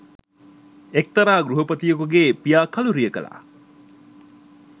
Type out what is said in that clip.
එක්තරා ගෘහපතියකුගේ පියා කලුරිය කළා.